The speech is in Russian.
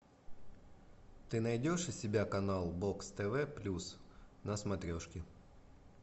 ты найдешь у себя канал бокс тв плюс на смотрешке